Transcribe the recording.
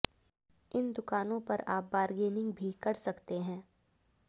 इन दुकानों पर आप बारगेनिंग भी कर सकते हैं